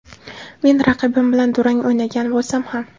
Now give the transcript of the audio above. Men raqibim bilan durang o‘ynagan bo‘lsam ham”.